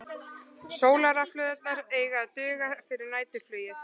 Sólarrafhlöðurnar eiga að duga fyrir næturflugið